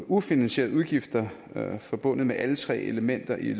ufinansierede udgifter forbundet med alle tre elementer i